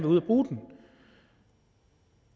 ud og bruge den